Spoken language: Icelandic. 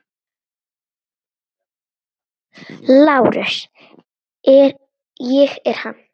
LÁRUS: Ég er hann.